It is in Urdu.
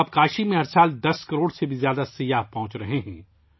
اب ہر سال 10 کروڑ سے زیادہ سیاح کاشی پہنچ رہے ہیں